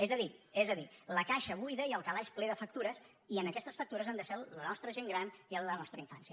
és a dir és a dir la caixa buida i el calaix ple de factures i en aquestes factures hem deixat la nostra gent gran i la nostra infància